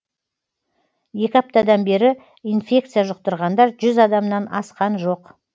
екі аптадан бері инфекция жұқтырғандар жүз адамнан асқан жоқ